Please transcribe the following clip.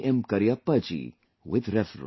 Cariappa ji with reverence